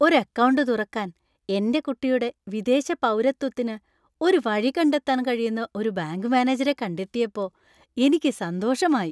ഒരു അക്കൗണ്ട് തുറക്കാൻ എന്‍റെ കുട്ടിയുടെ വിദേശ പൗരത്വത്തിന് ഒരു വഴി കണ്ടെത്താൻ കഴിയുന്ന ഒരു ബാങ്ക് മാനേജരെ കണ്ടെത്തിയപ്പോ എനിക്ക് സന്തോഷമായി.